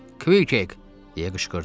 Kvik, deyə qışqırdım.